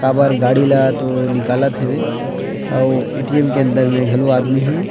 काबर गाड़ी ल तो निकलत हेवे अऊ एटीएम के अंदर मे घलो आदमी हे।